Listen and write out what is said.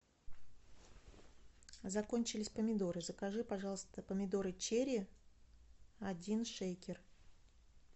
закончились помидоры закажи пожалуйста помидоры черри один шейкер